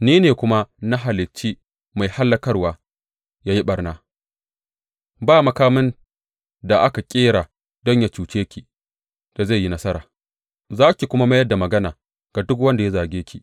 Ni ne kuma na halicci mai hallakarwa ya yi ɓarna; ba makamin da aka ƙera don yă cuce ki da zai yi nasara, za ki kuma mayar da magana ga duk wanda ya zarge ki.